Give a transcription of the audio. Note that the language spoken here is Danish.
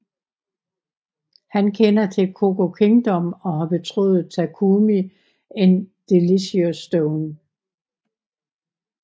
Han kender til CooKingdom og har betroet Takumi en Delicious Stone